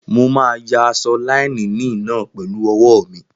Mo máa yà aṣọ láínìnì náà pẹ̀lú ọwọ́ mi